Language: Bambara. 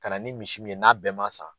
Ka na ni misi min ye n'a bɛɛ ma sa